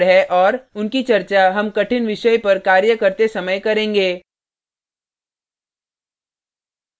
उनकी चर्चा हम कठिन विषय पर कार्य करते समय करेंगे